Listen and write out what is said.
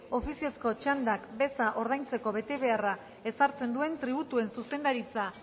ofiziozko txandak beza ordaintzeko betebeharra ezartzen duen tributuen zuzendaritza